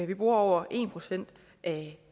vi bruger over en procent af